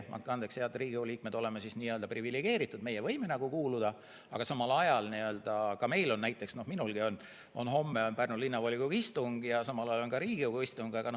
Veel kord, meie, head Riigikogu liikmed, oleme privilegeeritud, meie võime kuuluda, aga samal ajal on näiteks minulgi homme Pärnu Linnavolikogu istung ja samal ajal ka Riigikogu istung.